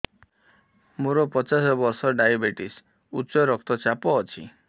ମୋର ପଚାଶ ବର୍ଷ ଡାଏବେଟିସ ଉଚ୍ଚ ରକ୍ତ ଚାପ ଅଛି